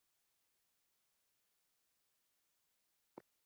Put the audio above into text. Jóhann: Hvað um þig?